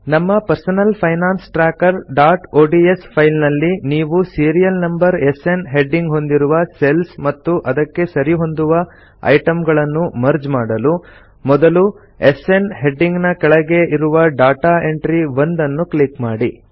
ನಮ್ಮ personal finance trackerಒಡಿಎಸ್ file ನಲ್ಲಿ ನೀವು ಸೀರಿಯಲ್ ನಂಬರ್ ಎಸ್ಎನ್ ಹೆಡ್ಡಿಂಗ್ ಹೊಂದಿರುವ ಸೆಲ್ಸ್ ಮತ್ತು ಅದಕ್ಕೆ ಸರಿ ಹೊಂದುವ ಐಟಂಗಳನ್ನು ಮರ್ಜ್ ಮಾಡಲು ಮೊದಲು ಎಸ್ಎನ್ ಹೆಡ್ಡಿಂಗ್ ನ ಕೆಳಗೆ ಇರುವ ಡಾಟಾ ಎಂಟ್ರಿ 1 ನ್ನು ಕ್ಲಿಕ್ ಮಾಡಿ